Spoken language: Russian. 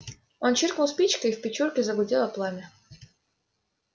он чиркнул спичкой в печурке загудело пламя